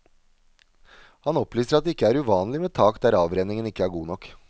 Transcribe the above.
Han opplyser at det ikke er uvanlig med tak der avrenningen ikke er god nok.